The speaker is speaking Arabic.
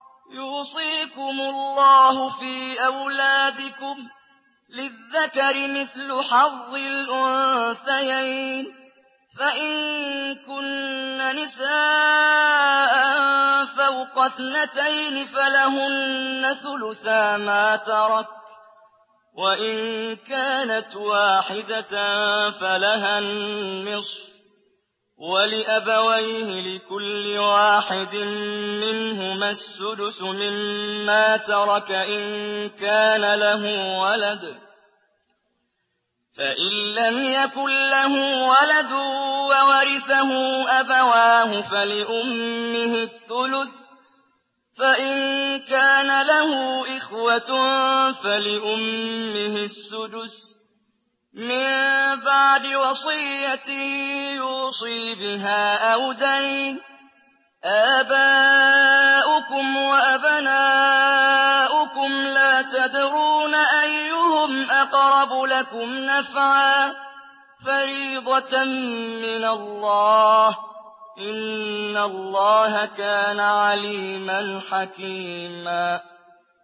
يُوصِيكُمُ اللَّهُ فِي أَوْلَادِكُمْ ۖ لِلذَّكَرِ مِثْلُ حَظِّ الْأُنثَيَيْنِ ۚ فَإِن كُنَّ نِسَاءً فَوْقَ اثْنَتَيْنِ فَلَهُنَّ ثُلُثَا مَا تَرَكَ ۖ وَإِن كَانَتْ وَاحِدَةً فَلَهَا النِّصْفُ ۚ وَلِأَبَوَيْهِ لِكُلِّ وَاحِدٍ مِّنْهُمَا السُّدُسُ مِمَّا تَرَكَ إِن كَانَ لَهُ وَلَدٌ ۚ فَإِن لَّمْ يَكُن لَّهُ وَلَدٌ وَوَرِثَهُ أَبَوَاهُ فَلِأُمِّهِ الثُّلُثُ ۚ فَإِن كَانَ لَهُ إِخْوَةٌ فَلِأُمِّهِ السُّدُسُ ۚ مِن بَعْدِ وَصِيَّةٍ يُوصِي بِهَا أَوْ دَيْنٍ ۗ آبَاؤُكُمْ وَأَبْنَاؤُكُمْ لَا تَدْرُونَ أَيُّهُمْ أَقْرَبُ لَكُمْ نَفْعًا ۚ فَرِيضَةً مِّنَ اللَّهِ ۗ إِنَّ اللَّهَ كَانَ عَلِيمًا حَكِيمًا